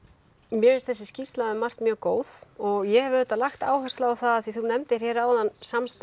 mér finnst þessi skýrsla um margt mjög góð og ég hef auðvitað lagt áherslu á af því þú nefndir áðan samstarf